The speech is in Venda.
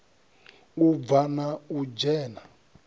u bva na u dzhena